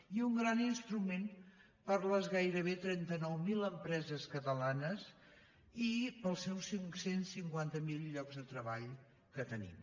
i un gran instru·ment per a les gairebé trenta nou mil empreses catalanes i per als seus cinc cents i cinquanta miler llocs de treball que tenim